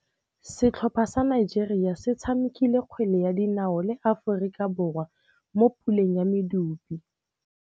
Setlhopha sa Nigeria se tshamekile kgwele ya dinaô le Aforika Borwa mo puleng ya medupe.